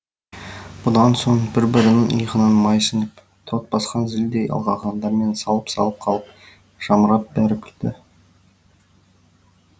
бұдан соң бір бірінің иығынан май сіңіп тот басқан зілдей алақандарымен салып салып қалып жамырап бәрі күлді